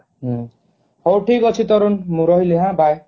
ହୁଁ ହଉ ଠିକ ଅଛି ତରୁନ ମୁଁ ରହିଲି ହାଁ bye